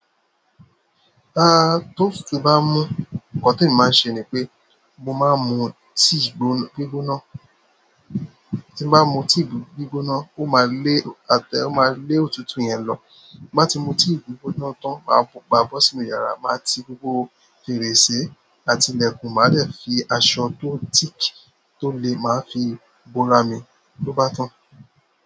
Ta ti òtútù bá mú nǹkan tí èmi máa ṣe ni pé mo máa mún tíì gbígbóná, tí n bá mú tíì gbígbóná ó máa lé òtútù yẹn lọ. Má tí mú tíì gbígbóná tán, máa bó sí inú yàrá, máa ti gbogbo fèrèsé àti ilẹ̀kùn, màá dẹ fi aṣọ tó thick tó lè máa fi bo ra mi ló bá tán.